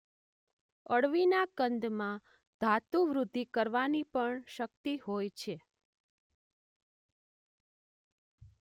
અળવીના કંદમાં ધાતુવૃદ્ધિ કરવાની પણ શક્તિ હોય છે.